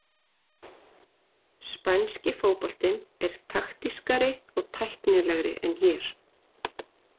Spænski fótboltinn er taktískari og tæknilegri en hér.